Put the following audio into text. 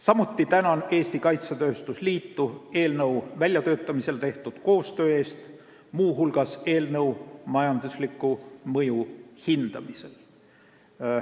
Samuti tänan Eesti Kaitsetööstuse Liitu eelnõu väljatöötamisel tehtud koostöö eest, muu hulgas eelnõu majandusliku mõju hindamisel.